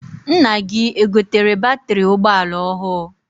Nna gị egotere batịrị ụgbọala ọhụụ?